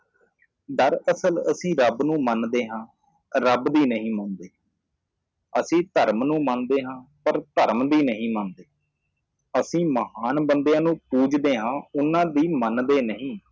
ਦਰਅਸਲ ਅਸੀਂ ਰੱਬ ਨੂੰ ਮੰਨਦੇ ਹਾਂ ਰੱਬ ਦੀ ਨਹੀਂ ਮੰਨਦੇ ਅਸੀਂ ਧਰਮ ਨੂੰ ਮੰਨਦੇ ਹਾਂ ਪਰ ਧਰਮ ਦੀ ਨਹੀ ਮੰਨਦੇ ਅਸੀਂ ਮਹਾਨ ਬੰਦਿਆਂ ਨੂੰ ਪੂਜਦੇ ਹਾਂ ਉਹਨਾਂ ਦੀ ਮੰਨਦੇ ਨਹੀਂ